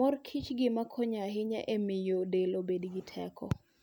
mor kichen gima konyo ahinya e miyo del obed gi teko.